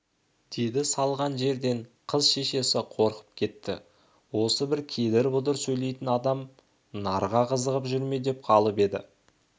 деді салған жерден қыз шешесі қорқып кетті осы бір кедір-бұдыр сөйлейтін адам ақ нарға қызығып жүр ме деп қалып еді